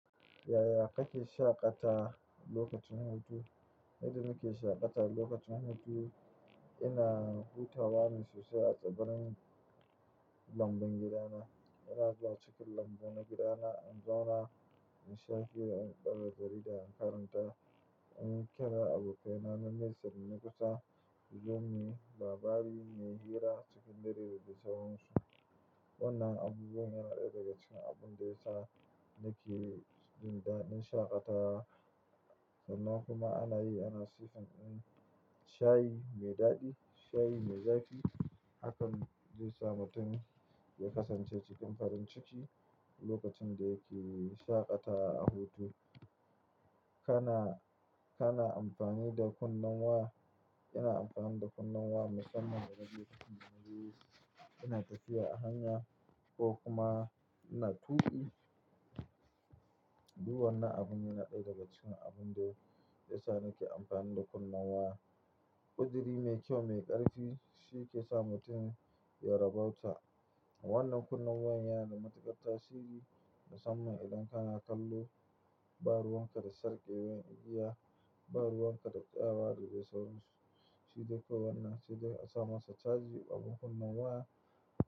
Yaya kake shaƙata lokacin hutu? Yadda nake shaƙata lokacin hutu, ina hutawa ne sosai a tsibirin lambun gidana. Ina zuwa cikin lambu na gidana, in zauna in sha fiye da, ɗa jarida in karanta, in kaina abokai na na Nesa da kusa, su zo muyi labari muyi hira cikin dare da sauransu. Wannan abubuwan yana ɗaya daga cikin abun da yasa nake jin daɗin shaƙatawa. Sannan kuma ana yi, ana siffin shayi mai daɗi, shayi mai zafi. Hakan zai sa mutum ya kasance cikin farin ciki lokacin da yake shaƙatawa a hutu. Kana, kana amfani da kunnen waya? Ina amfani da kunnen wa musamman da naje kudu ina tafiya a hanya ko kuma ina tuƙi. Duwanna abun yana ɗaya daga cikin abun da yasa nake amfani da kunnen waya. Kuduri mai kyau mai ƙarfi shi ke sa mutum ya rabauta. Wannan kunnen waya yana da matuƙar tasiri musamman idan kana kallo, ba ruwanka da sarƙe wain igiya, ba ruwanka da tsayawa da dai sauransu. Shi dai ko wanna shi dai asa masa caji abun kunne waya.